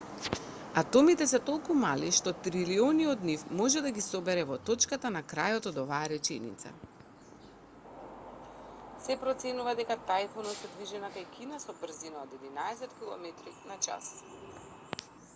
атомите се толку мали што трилиони од нив може да ги собере во точката на крајот од оваа реченица